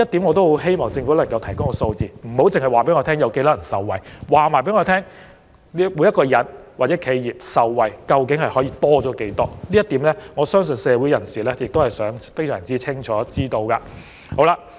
我希望政府能夠提供這些數字，而不單是受惠人數，所以請當局提供每名納稅人或每家企業額外受惠的金額，因為我相信社會人士均想知道答案。